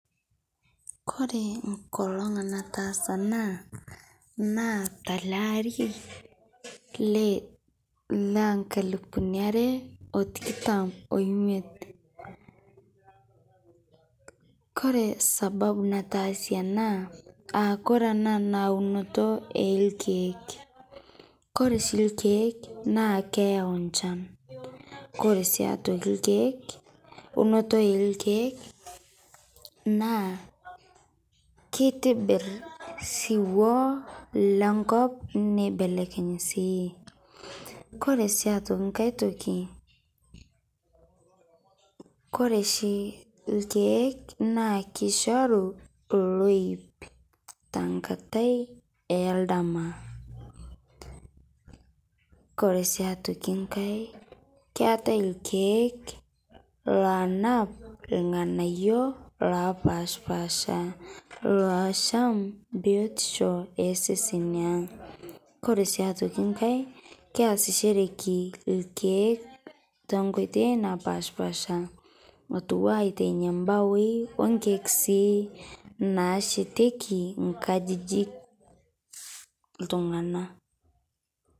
Kore nkolong naatasa ana naa talaa aari le naa nkalupuni aare otikitaam oimiet. Kore sababu nataasie ana aa kore ana naa unotii e lkiek. Kore shii lkiek naa keiyau nchaan kore sii aitokii lkiek unotoo e lkiek naa keitibiir siuwo le nkop neibelekeny' sii . Kore sii aitokii nkaai ntokii kore shii lkiek naa keishoruu looip te nkaatai e ldama. Kore sii aitokii nkaai keetai lkiek loanaap lng'anaiyo lopashpasha loasham biotisho esesen ang'. Kore sii aitokii nkaai keeasishore lkiek to nkotoi naapashpasha atua aitenya lmbaoi o lkiek sii naashetieki nkajijik.